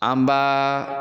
An b'a